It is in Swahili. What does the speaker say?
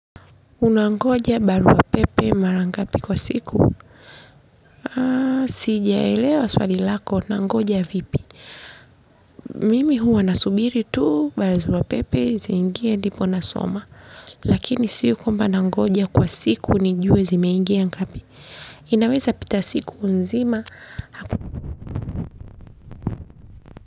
Unangoja barua pepe mara ngapi kwa siku? Sijaelewa swali lako, unangoja vipi? Mimi huwa nasubiri tu, barua pepe, ziingie ndipo nasoma. Lakini sio kwamba nangoja kwa siku, nijue zimeingia ngapi. Inaweza pita siku nzima.